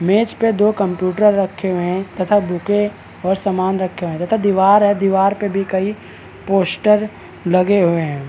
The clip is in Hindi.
मेज पे दो कंप्यूटर रखे हुए हैं तथा बूके और समान रखे हुए हैं तथा दीवार है दीवार पे भी कई पोस्टर लगे हुए हैं।